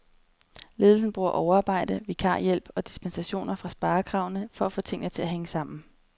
Ledelsen bruger overarbejde, vikarhjælp og dispensationer fra sparekravene for at få tingene til at hænge sammen.